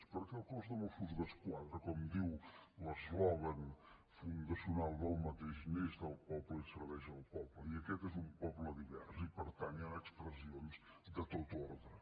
perquè el cos de mossos d’esquadra com diu el seu eslògan fundacional neix del poble i serveix al poble i aquest és un poble divers i per tant hi han expressions de tot ordre